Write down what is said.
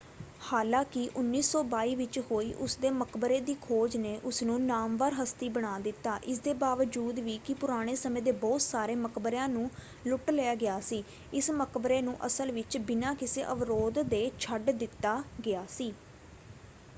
ਹਾਲਾਂਕਿ 1922 ਵਿੱਚ ਹੋਈ ਉਸਦੇ ਮਕਬਰੇ ਦੀ ਖੋਜ ਨੇ ਉਸਨੂੰ ਨਾਮਵਰ ਹਸਤੀ ਬਣਾ ਦਿੱਤਾ। ਇਸਦੇ ਬਾਵਜੂਦ ਵੀ ਕਿ ਪੁਰਾਣੇ ਸਮੇਂ ਦੇ ਬਹੁਤ ਸਾਰੇ ਮਕਬਰਿਆਂ ਨੂੰ ਲੁੱਟ ਲਿਆ ਗਿਆ ਸੀ ਇਸ ਮਕਬਰੇ ਨੂੰ ਅਸਲ ਵਿੱਚ ਬਿਨਾਂ ਕਿਸੇ ਅਵਰੋਧ ਦੇ ਛੱਡ ਦਿੱਤਾ ਗਿਆ ਸੀ।